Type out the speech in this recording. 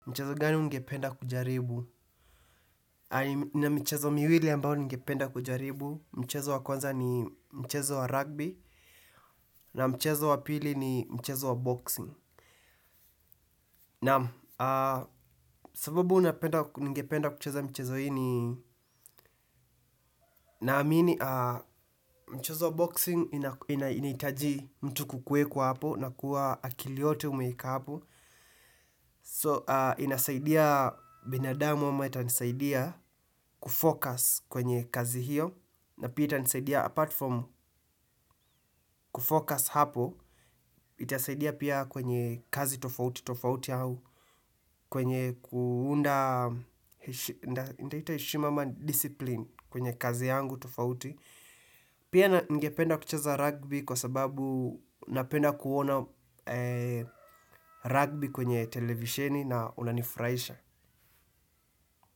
Mchezo gani ungependa kujaribu? Nina michezo miwili ambao ningependa kujaribu. Mchezo wa kwanza ni mchezo wa rugby. Na mchezo wa pili ni mchezo wa boxing. Naam sababu ningependa kucheza mchezo hii ni naamini mchezo wa boxing inahitaji mtu kukueko hapo na kuwa akili yote umeieka hapo. So inasaidia binadamu ama itanisaidia kufokas kwenye kazi hiyo. Na pia itanisaidia apart from kufocus hapo, itasaidia pia kwenye kazi tofauti tofauti au, kwenye kuunda, nitaita heshima ama discipline kwenye kazi yangu tofauti. Pia ningependa kucheza rugby kwa sababu napenda kuona rugby kwenye televisheni na unanifuraisha.